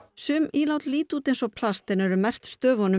sum ílát líta út eins og plast en eru merkt stöfunum